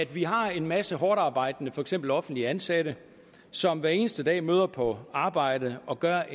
vi har en masse hårdtarbejdende mennesker for eksempel offentligt ansatte som hver eneste dag møder på arbejde og gør